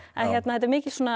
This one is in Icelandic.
þetta er mikil svona